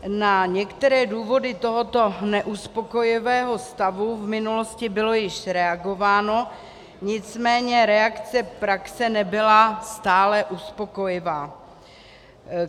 Na některé důvody tohoto neuspokojivého stavu v minulosti bylo již reagováno, nicméně reakce praxe nebyla stále uspokojivá.